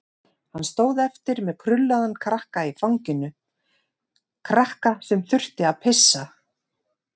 Hann stóð eftir með krullaðan krakka í fanginu, krakka sem þurfti að pissa.